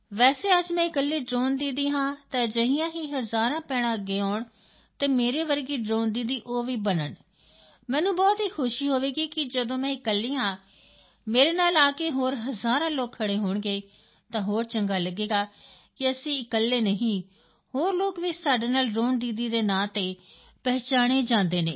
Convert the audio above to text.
ਵੈਸੇ ਅੱਜ ਮੈਂ ਇਕੱਲੀ ਡ੍ਰੋਨ ਦੀਦੀ ਹਾਂ ਤਾਂ ਅਜਿਹੀਆਂ ਹੀ ਹਜ਼ਾਰਾਂ ਭੈਣਾਂ ਅੱਗੇ ਆਉਣ ਤੇ ਮੇਰੇ ਵਰਗੀ ਡ੍ਰੋਨ ਦੀਦੀ ਉਹ ਵੀ ਬਣਨ ਮੈਨੂੰ ਬਹੁਤ ਖੁਸ਼ੀ ਹੋਵੇਗੀ ਕਿ ਜਦੋਂ ਮੈਂ ਇਕੱਲੀ ਹਾਂ ਮੇਰੇ ਨਾਲ ਆ ਕੇ ਹੋਰ ਹਜ਼ਾਰਾਂ ਲੋਕ ਖੜ੍ਹੇ ਹੋਣਗੇ ਤਾਂ ਹੋਰ ਚੰਗਾ ਲੱਗੇਗਾ ਕਿ ਅਸੀਂ ਇਕੱਲੇ ਨਹੀਂ ਹੋਰ ਲੋਕ ਵੀ ਸਾਡੇ ਨਾਲ ਡ੍ਰੋਨ ਦੀਦੀ ਦੇ ਨਾਂ ਤੇ ਪਹਿਚਾਣੇ ਜਾਂਦੇ ਹਨ